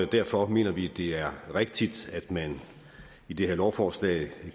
derfor mener vi at det er rigtigt at man i det her lovforslag